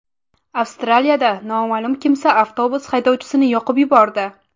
Avstraliyada noma’lum kimsa avtobus haydovchisini yoqib yubordi.